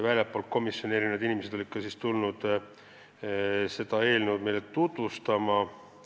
Väljastpoolt komisjoni olid tulnud mitmed inimesed seda eelnõu meile tutvustama.